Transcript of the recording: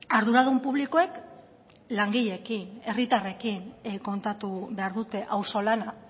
arduradun publikoek langileekin herritarrekin kontatu behar dute auzolana